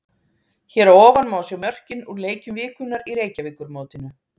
Hér að ofan má sjá mörkin úr leikjum vikunnar í Reykjavíkurmótinu.